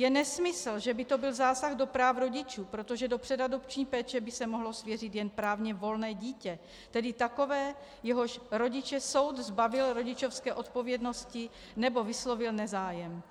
Je nesmysl, že by to byl zásah do práv rodičů, protože do předadopční péče by se mohlo svěřit jen právně volné dítě, tedy takové, jehož rodiče soud zbavil rodičovské odpovědnosti nebo vyslovil nezájem,